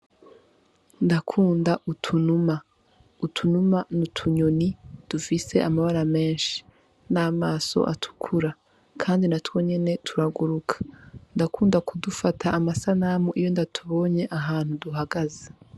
Ndakunda utunuma, utunuma n’utunyoni ifise amabara menshi n' amaso atukura kandi natwo nyene turaguruka ndakunda kudufata amasanamu iyo ndatubonye ahantu duhagaze.